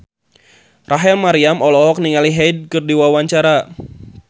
Rachel Maryam olohok ningali Hyde keur diwawancara